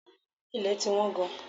Ilẹ̀ ti wọ́n gan.